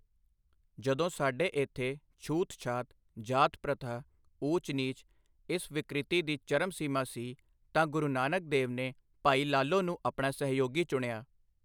ਜਦੋਂ ਸਾਡੇ ਇੱਥੇ ਛੂਤਛਾਤ, ਜਾਤ ਪ੍ਰਥਾ, ਊਚ ਨੀਚ, ਇਸ ਵਿਕ੍ਰਿਤੀ ਦੀ ਚਰਮ ਸੀਮਾ ਸੀ, ਤਾਂ ਗੁਰੂ ਨਾਨਕ ਦੇਵ ਨੇ ਭਾਈ ਲਾਲੋ ਨੂੰ ਆਪਣਾ ਸਹਿਯੋਗੀ ਚੁਣਿਆ।